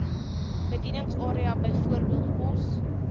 bedieningsarea bv pos